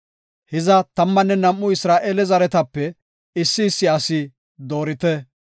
Hiza tammanne nam7u Isra7eele zerethatape issi issi asi doorite.